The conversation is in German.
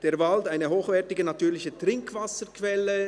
«Der Wald: eine hochwertige natürliche Trinkwasserquelle».